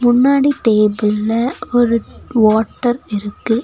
முன்னாடி டேபிள்ல ஒரு வாட்டர் இருக்கு.